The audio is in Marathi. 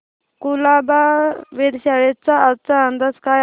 कुलाबा वेधशाळेचा आजचा अंदाज काय आहे